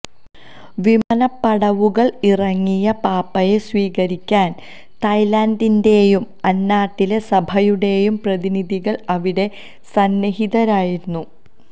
വിമാനപ്പടവുകള് ഇറങ്ങിയ പാപ്പായെ സ്വീകരിക്കാന് തായ്ലന്റിന്റെയും അന്നാട്ടിലെ സഭയുടെയും പ്രതിനിധികള് അവിടെ സന്നിഹിതരായിരുന്നു